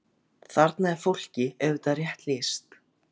Þarna er fólki auðvitað rétt lýst.